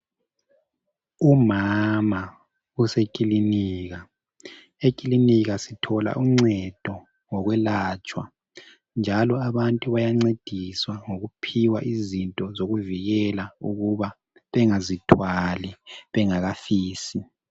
Umama usekhilinika ,ekhilinika sithola uncedo lokwelatshwa .Njalo abantu bayancediswa ukuphiwa izinto zokuvikela ukuba bengazithwali bengakafisi.